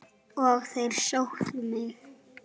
Og þeir sóttu mig.